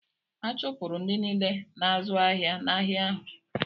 A chụpụrụ ndị niile na-azụ́ ahịa n’ahịa ahụ.